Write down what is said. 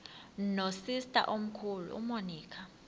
nosister omkhulu umonica